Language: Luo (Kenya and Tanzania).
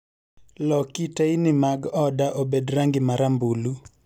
Loki teyni mag oda obed rangi marambulu